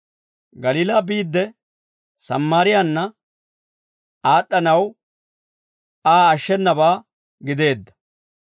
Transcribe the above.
Galiilaa biidde, Sammaariyaanna aad'd'anawe Aa ashshenabaa gideedda.